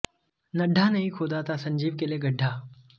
नड्डा ने ही खोदा था संजीव के लिए गड्ढा